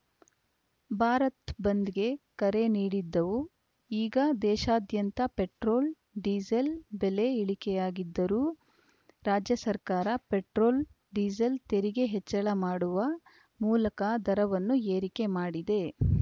ಭಾರತ್‌ ಬಂದ್‌ಗೆ ಕರೆ ನೀಡಿದ್ದವು ಈಗ ದೇಶಾದ್ಯಂತ ಪೆಟ್ರೋಲ್‌ ಡೀಸೆಲ್‌ ಬೆಲೆ ಇಳಿಕೆಯಾಗುತ್ತಿದ್ದರೂ ರಾಜ್ಯ ಸರ್ಕಾರ ಪೆಟ್ರೋಲ್‌ ಡೀಸೆಲ್‌ ತೆರಿಗೆ ಹೆಚ್ಚಳ ಮಾಡುವ ಮೂಲಕ ದರವನ್ನು ಏರಿಕೆ ಮಾಡಿದೆ